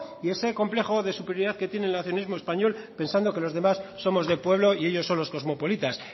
y ese complejo de superioridad que tiene el nacionalismo español pensando que los demás somos de pueblo y ellos son los cosmopolitas